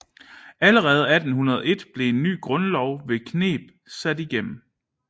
Allerede 1801 blev en ny grundlov ved kneb sat igennem